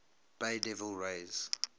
bay devil rays